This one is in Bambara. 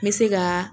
N bɛ se ka